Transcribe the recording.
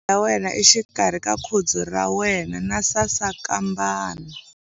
Khoma penisele ya wena exikarhi ka khudzu ra wena na sasankambana.